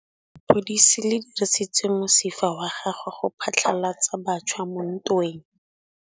Lepodisa le dirisitse mosifa wa gagwe go phatlalatsa batšha mo ntweng.